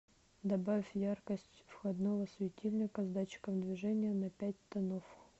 добавь яркость входного светильника с датчиком движения на пять тонов